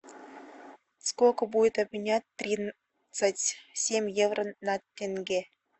сколько будет обменять тридцать семь евро на тенге